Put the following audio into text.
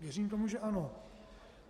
Věřím tomu, že ano.